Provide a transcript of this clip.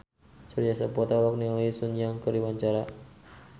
Surya Saputra olohok ningali Sun Yang keur diwawancara